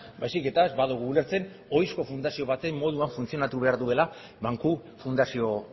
baizik eta ez badugu ulertzen ohizko fundazio baten moduan funtzionatu behar duela banku fundazio